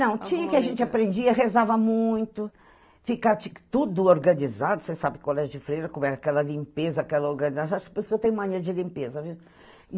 Não, tinha que a gente aprendia, rezava muito, ficava tudo organizado, você sabe, colégio de freira, como é aquela limpeza, aquela organização, por isso que eu tenho mania de limpeza, viu?